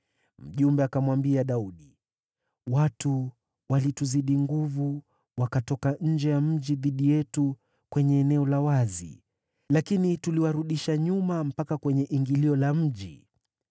Mjumbe akamwambia Daudi, “Watu walituzidi nguvu wakatoka nje ya mji dhidi yetu kwenye eneo la wazi, lakini tuliwarudisha nyuma mpaka kwenye ingilio la mji.